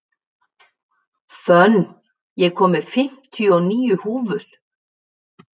Fönn, ég kom með fimmtíu og níu húfur!